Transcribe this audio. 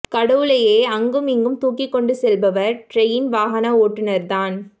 கடவுளேயே அங்கும் இங்கும் தூக்கி கொண்டு செல்பவர் ட்ரெயின் வாகன ஓட்டுநர் தான்